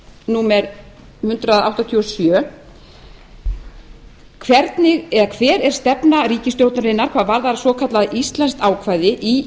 númer hundrað áttatíu og sjö hver er stefna ríkisstjórnarinnar hvað varðar svokallað íslenskt ákvæði í